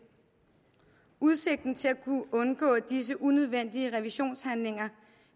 udsigten til at kunne undgå disse unødvendige revisionshandlinger